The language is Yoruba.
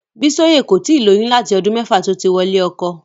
Bísóyè kò tíì lóyún láti ọdún mẹ́fà tó ti wọlé ọkọ.